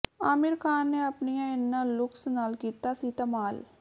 ਆਮਿਰ ਖਾਨ ਨੇ ਆਪਣੀਆਂ ਇਨ੍ਹਾਂ ਲੁੱਕਸ ਨਾਲ ਕੀਤਾ ਸੀ ਧਮਾਲ